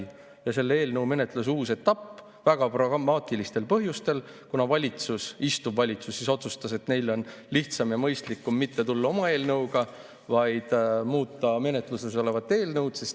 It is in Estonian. Ja eelnõu menetluse uus etapp – väga pragmaatilistel põhjustel, kuna valitsus otsustas, et neil on lihtsam ja mõistlikum mitte tulla oma eelnõuga, vaid muuta menetluses olevat eelnõu.